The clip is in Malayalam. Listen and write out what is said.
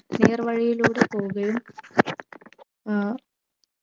നേർ വഴിയിലൂടെ പോവുകയും ഏർ